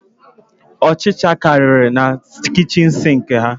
Ọchicha kariri na kichin sinki ha